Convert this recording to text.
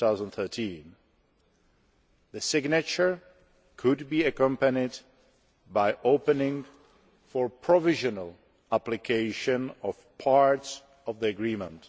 2013. The signature could be accompanied by the opening for provisional application of parts of the Agreement.